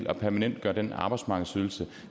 at permanentgøre den arbejdsmarkedsydelse